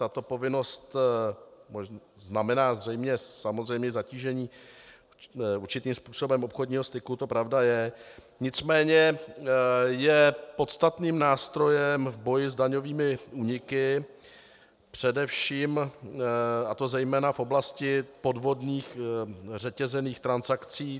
Tato povinnost znamená samozřejmě zatížení určitým způsobem obchodního styku, to pravda je, nicméně je podstatným nástrojem v boji s daňovými úniky především, a to zejména, v oblasti podvodných řetězených transakcí.